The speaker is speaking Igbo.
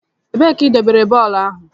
Ebee ka idobere bọlbụ ahụ?